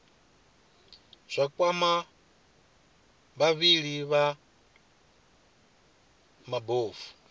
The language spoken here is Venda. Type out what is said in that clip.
zwa kwama vhavhali vha mabofu